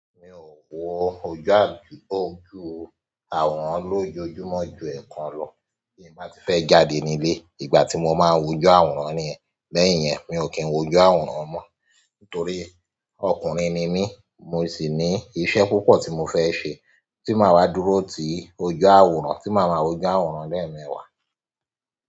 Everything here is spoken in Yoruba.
Mi ò wo ojú àwòrán lójoojúmọ́ ju ẹ̀ẹ̀kan lọ, bí mo bá ti fẹ́ jáde nílé. Ìgbà tí mo máa wo ojú àwòrán ni lẹ́yìn yẹn mi ò kí ń wo ojú àwòrán mọ́. Nítorí ọkùnrin ni mí, mo sì ní iṣẹ́ púpọ̀ tí mo fẹ́ ṣe tí màá wá dúró tí ojú àwòrán, tí màá ma wo ojú àwòrán lẹ́ẹ̀mẹwà.